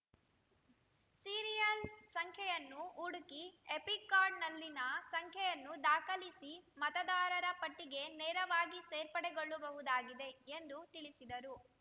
serial ಸಂಖ್ಯೆಯನ್ನು ಹುಡುಕಿ EPIC ಕಾರ್ಡ್‌ನಲ್ಲಿನ ಸಂಖ್ಯೆಯನ್ನು ದಾಖಲಿಸಿ ಮತದಾರರ ಪಟ್ಟಿಗೆ ನೇರವಾಗಿ ಸೇರ್ಪಡೆಗೊಳ್ಳಬಹುದಾಗಿದೆ ಎಂದು ತಿಳಿಸಿದರು